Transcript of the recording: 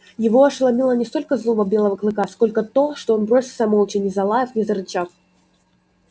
его ошеломила не столько злоба белого клыка сколько то что он бросился молча не залаяв не зарычав